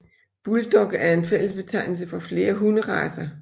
Bulldog er en fællesbetegnelse for flere hunderacer